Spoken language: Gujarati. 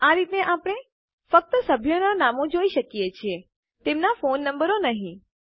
આ રીતે આપણે ફક્ત સભ્યોનાં નામો જોઈ શકીએ છીએ તેમનાં ફોન નંબરો નહી